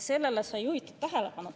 Sellele sai juhitud tähelepanu.